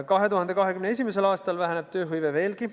2021. aastal väheneb tööhõive veelgi.